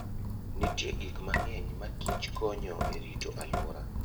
Nitie gik mang'eny ma kich konyo e rito alwora.